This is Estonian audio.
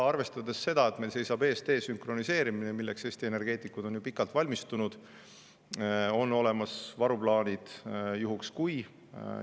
Arvestades seda, et meil seisab ees desünkroniseerimine, milleks Eesti energeetikud on ju pikalt valmistunud, on olemas varuplaanid "juhuks kui".